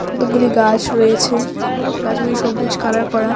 কতকগুলি গাছ রয়েছে গাছগুলি সবুজ কালার করা.